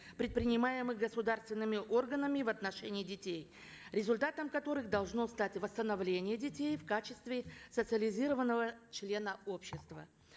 предпринимаемых государственными органами в отношении детей результатом которых должно стать восстановление детей в качестве социализированного члена общества